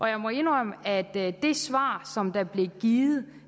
jeg må indrømme at det svar der blev givet